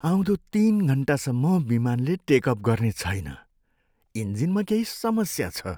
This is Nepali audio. आउँदो तिन घन्टासम्म विमानले टेक अफ गर्ने छैन। इन्जिनमा केही समस्या छ।